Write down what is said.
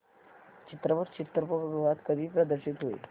चित्रपट चित्रपटगृहात कधी प्रदर्शित होईल